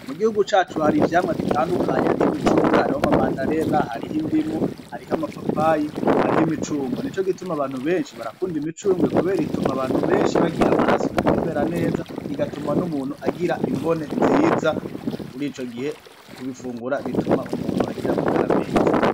Mugihugu cacu har'ivyamwa bitandukanye ,harih'imicungwe, harih' ama madarena ,harih'indimu harih'amapapayi, harih'imicungwe ,nicogituma abantu benshi barakunda imicungwe kuber'itum'abantu benshi bagir 'amaraso menshi atembera neza bigatuma n'umutu agira imbone nziza ,murico gihe kubifungura bituma umuntu agir'amagara meza.